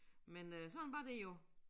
Men øh sådan var det jo